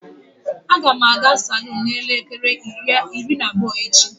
Agam aga salon n'elekere iri na abuo echi.